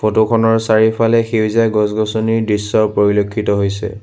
Photo খনৰ চাৰিওফালে সেউজীয়া গছ-গছনিৰ দৃশ্য পৰিলক্ষিত হৈছে।